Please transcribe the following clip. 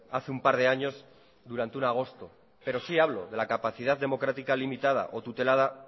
hace un par de años durante un agosto pero sí hablo de la capacidad democrática limitada o tutelada